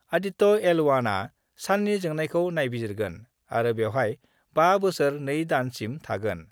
Aditya L 1 आ साननि जोंनायखौ नायबिजिरगोन आरो बेवहाय 5 बोसोर 2 दान सिम थागोन।